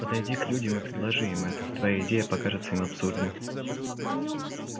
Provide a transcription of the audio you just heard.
подойди к людям и предложи им это твоя идея покажется им абсурдной